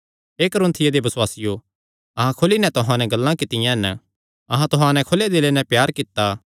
हे कुरिन्थियों दे बसुआसियो अहां खुली नैं तुहां नैं गल्लां कित्तियां हन अहां तुहां नैं खुले दिले नैं प्यार कित्ता